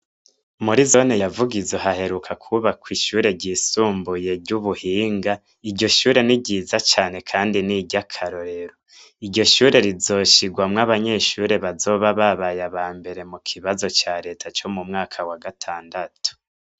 Muri zone ya Vugizo haheruka kwubakw’ishure ryisumbuye ry'ubuhinga iryo shure niryiza cane kandi niry’akarorero . iryo shure rizoshigwamw'abanyeshure bazoba babaye abambere mu kibazo ca leta co mu mwaka wa gatandatu